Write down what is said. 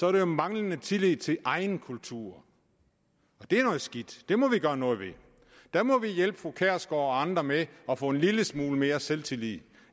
er det jo manglende tillid til egen kultur det er noget skidt det må vi gøre noget ved der må vi hjælpe fru pia kjærsgaard og andre med at få en lille smule mere selvtillid